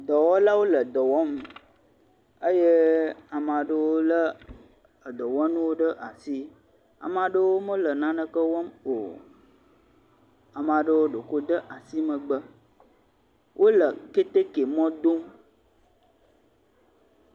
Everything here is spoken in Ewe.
dɔwɔlawo le dɔwɔm eye amaɖewo le edɔwɔnuwo ɖe asi amaɖewo mele naneke wɔm o amaɖewo ɖoko wóde asi megbe wóle kɛtɛkɛ mɔ dom